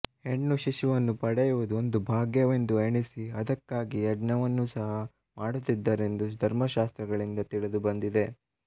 ಹೆಣ್ಣು ಶಿಶುವನ್ನು ಪಡೆಯುವುದು ಒಂದು ಭಾಗ್ಯವೆಂದು ಎಣಿಸಿ ಅದಕ್ಕಾಗಿ ಯಜ್ಞವನ್ನು ಸಹ ಮಾಡುತ್ತಿದ್ದರೆಂದು ಧರ್ಮಶಾಸ್ತ್ರಗಳಿಂದ ತಿಳಿದುಬಂದಿದೆ